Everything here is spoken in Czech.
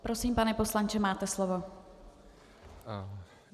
Prosím, pane poslanče, máte slovo.